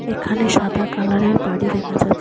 এখানে সাদা কালারের বাড়ি দেখা যা --